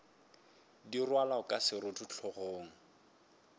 di rwalwa ka seroto hlogong